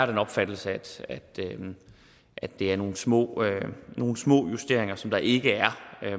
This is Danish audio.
den opfattelse at det er nogle små nogle små justeringer som der ikke er